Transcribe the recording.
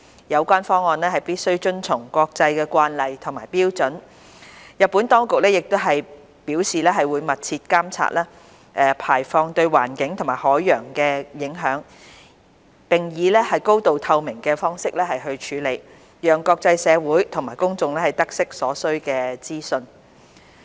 有關方案必須遵從國際慣例和標準，日本當局亦表示會密切監察排放對環境及海洋的影響，並以高透明度方式處理，讓國際社會及公眾得悉所需資訊。